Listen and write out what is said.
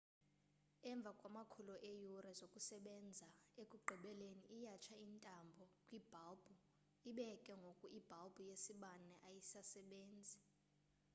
emva kwamakhulu eeyure zokusebenza ekugqibeleni iyatsha intambo kwibhalbhu ibe ke ngoku ibhalbhu yesibane ayisasebenzi